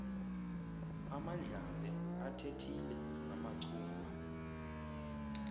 amandlambe athethile namachungwa